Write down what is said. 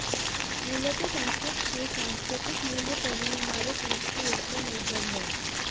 मूलतः संस्कृत के सांस्कृतिक मूल्य पर ही हमारे देश की एकता निर्भर है